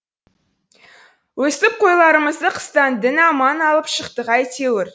өстіп қойларымызды қыстан дін аман алып шықтық әйтеуір